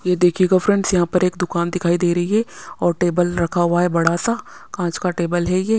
ये देखिएगा फ्रेंड्स यहाँ पर एक दुकान दिखाई दे रही है और टेबल रखा हुआ है बड़ा सा काँच का टेबल है ये--